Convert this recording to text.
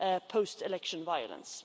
post election violence.